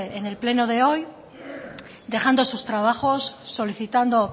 en el pleno de hoy dejando sus trabajos solicitando